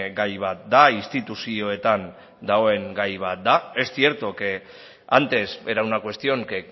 gai bat da instituzioetan dagoen gai bat da es cierto que antes era una cuestión que